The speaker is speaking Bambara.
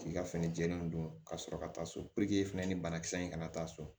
K'i ka fini jɛlen don ka sɔrɔ ka taa so fɛnɛ ni banakisɛ in kana taa so